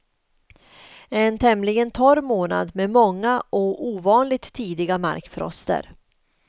En tämligen torr månad med många och ovanligt tidiga markfroster.